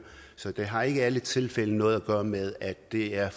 så det har ikke i alle tilfælde noget at gøre med at det er